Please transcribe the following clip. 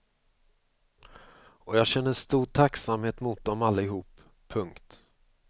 Och jag känner stor tacksamhet mot dem allihop. punkt